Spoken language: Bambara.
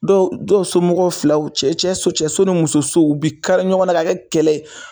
Dɔw dɔw somɔgɔ filaw cɛ cɛ cɛso ni muso u be kari ɲɔgɔn na k'a kɛ kɛlɛ